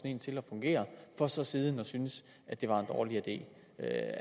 en til at fungere for så siden at synes det var en dårlig det